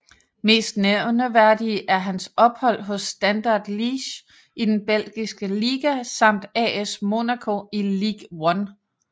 Mest nævneværdige er hans ophold hos Standard Liège i den belgiske liga samt AS Monaco i Ligue 1